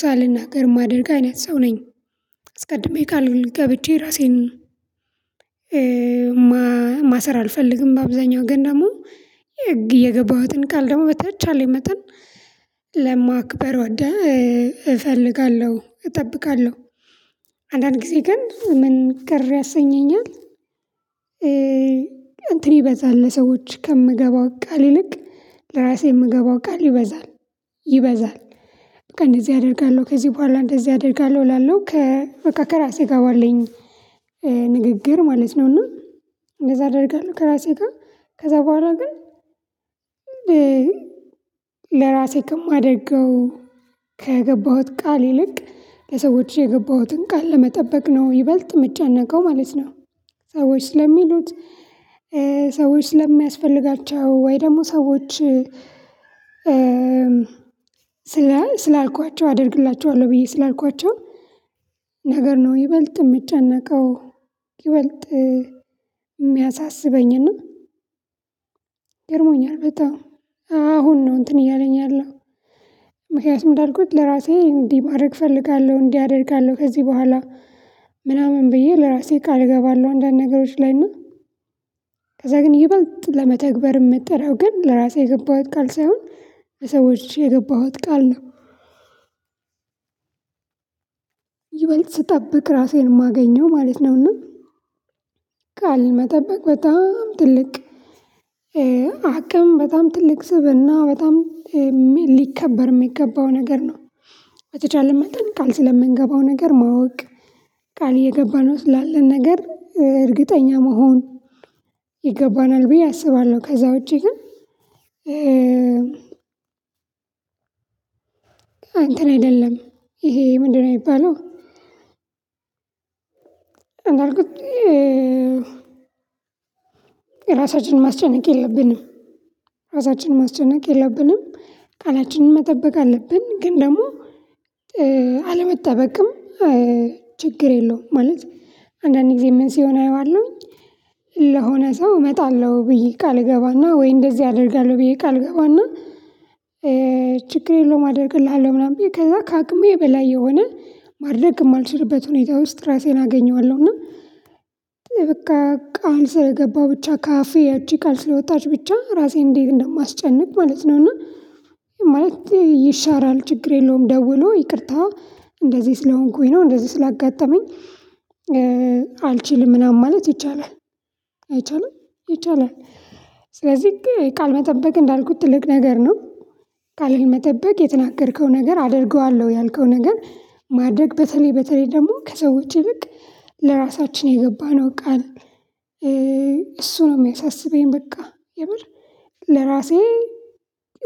ሳልናገር የማደርግ አይነት ሰው ነኝ። አስቀድሜ ቃል ገብቼ ራሴን ማሰር አልፈልግም። በአብዛኛው ግን ደግሞ የገባሁትን ቃል ደግሞ በተቻለ መተን ለማክበር ወደ እፈልጋለሁ እጠብቃለሁ አንዳንድ ጊዜ ግን ምን ቅር ያሰኘኛል። እንትን ይበዛል ለሰዎች ከምገባው ቃል ይልቅ ለራሴ የምገባው ቃል ይበዛል። ይበዛል ከእንደዚህ አደርጋለሁ ከዚህ በኋላ እንደዚህ አደርጋለሁ እላለሁ። ከ ከራራሴ ጋር ባለኝ ንግግር ማለት ነው። እና እንደዛ አደርጋለሁ። ከራሴ ጋር ከዛ በኋላ ግን እንዴ ለራሴ ከማደርገው ከገባሁት ቃል ይልቅ ለሰዎች የገባሁትን ቃል ለመጠበቅ ነው ይበልጥ ምጨነቀው ማለት ነው። ሰዎች ስለሚሉት ሰዎች ስለሚያስፈልጋቸው ወይ ደግሞ ሰዎች ስለ ስላልኳቸው አደርግላቸዋለሁ ብዬ ስላልኳቸው ነገር ነው ይበልጥ እምጨነቀው። ይበልጥ እሚያሳስበኝና ገርሞኛል በጣም አሁን ነው እንትን እያለኝ ያለው። ምክንያቱም እንዳልኩት ለራሴ እንዲህ ማድረግ እፈልጋለሁ እንዲህ አደርጋለሁ ከዚህ በኋላ ምናምን ብዬ ለራሴ ቃል እገባለሁ። አንዳንድ ነገሮች ላይ እና ከዛ ግን ይበልጥ ለመተግበር እምትጠረው ግን ለራሴ የገባሁት ቃል ሳይሆን ለሰዎች የገባሁት ቃል ነው። ይበልጥ ስጠብቅ ራሴን እማገኘው ማለት ነውና። ቃል መበቅ በጣም ትልቅ አቅም በጣም ትልቅ ስብእና በጣም ሊከበር እሚገባው ነገር ነው። በተቻለን መጠን ቃል ስለምንገባው ነገር ማወቅ ቃል እየገባንው ስላለን ነገር እርግጠኛ መሆን ይገባናል ብዬ አስባለሁ። ከዛ ውጪ ግን እንተን አይደለም ይሄ ምንድነው? እሚባለው እንዳልኩት የራሳችንን ማስጨነቅ የለብንም። እራሳችንን ማስጨነቅ የለብንም። ቃላችንን መጠበቅ አለብን ግን ደግሞ አለመጠበቅም ችግር የለውም። ማለት አንዳንድ ጊዜ ምን ሲሆን አየዋለሁኝ ለሆነ ሰው እመጣለሁ ብዬ ቃል እገባና ወይ እንደዚህ አደርጋለሁ ብዬ ቃል እገባና ችግር የለውም አደርግልሃለሁ ምናምን ብዬ ከዛ ከአቅሜ በላይ የሆነ ማድረግ እማልችልበት ሁኔታ ውስጥ ራሴን አገኘዋለሁ። እና በቃ ቃል ስለገባሁ ብቻ ካፌ እጅ ቃል ስለወጣች ብቻ ራሴን እንዴት እንደማስጨንቅ ማለት ነው። እና ማለት ይሻራል ችግር የለውም። ደውሎ ይቅርታ እንደዚህ ስለሆንኩኝ ነው። እንደዚህ ስላጋጠመኝ አልችልም ምናምን ማለት ይቻላል። አይቻልም ይቻላል። ስለዚህ ቃል መጠበቅ እንዳልኩት ትልቅ ነገር ነው። ቃልን መጠበቅ የተናገርከው ነገር አደርገዋለሁ ያልከው ነገር ማድረግ በተለይ በተለይ ደግሞ ከሰዎች ይልቅ ለራሳችን የገባነው ቃል እሱ ነው እሚያሳስበኝ። በቃ የምር ለራሴ